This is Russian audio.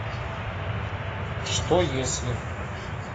что если